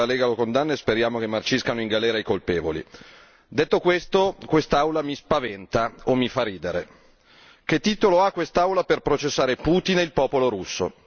ovviamente la Lega lo condanna e speriamo che marciscano in galera i colpevoli. Detto questo, quest'Aula mi spaventa o mi fa ridere. Che titolo ha quest'Aula per processare Putin e il popolo russo?